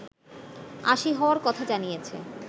৮০ হওয়ার কথা জানিয়েছে